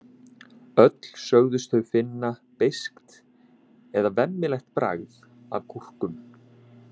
Öll sögðust þau finna beiskt eða vemmilegt bragð af gúrkum.